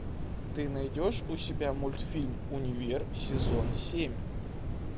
ты найдешь у себя мультфильм универ сезон семь